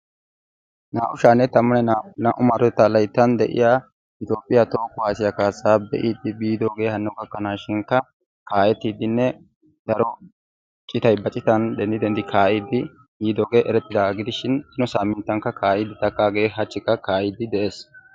naa'u sha'anne tammane naa'u maarotettaa layttan de'iya etoophiya toho kuwaasiya kaasaa be'iidi biidoogee hano gakanaashinkka kaa'ettidinne daro citay ba citan denddi denddidi kaa'iidi yiidooge eretees. hegaa gidishin nu saamintankka kaa'iidi takaagee hachikka de'ees.